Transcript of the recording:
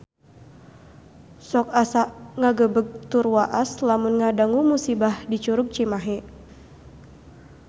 Sok asa ngagebeg tur waas lamun ngadangu musibah di Curug Cimahi